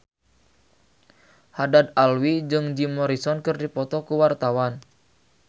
Haddad Alwi jeung Jim Morrison keur dipoto ku wartawan